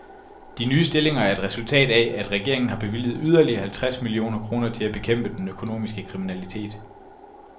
De nye stillinger er et resultat af, at regeringen har bevilget yderligere halvtreds millioner kroner til at bekæmpe den økonomiske kriminalitet.